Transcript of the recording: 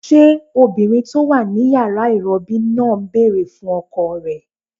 Ṣé obìnrin tó wà ní yàrá ìrọbí náà ń bèrè fún ọkọ rẹ̀?